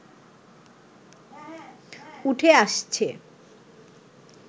উঠে আসছে